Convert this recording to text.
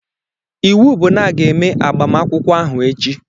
Iwu bụ na a ga-eme agbamakwụkwọ ahụ echi!